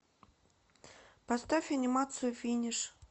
поставь анимацию финиш